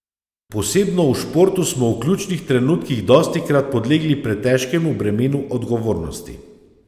Posebno v športu smo v ključnih trenutkih dostikrat podlegli pretežkemu bremenu odgovornosti.